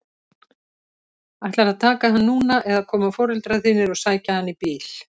Ætlarðu að taka hann núna eða koma foreldrar þínir og sækja hann í bíl?